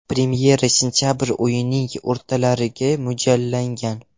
Premyera sentabr oyining o‘rtalariga mo‘ljallangan.